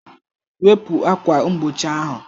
Wepu ákwà mgbochi ahụ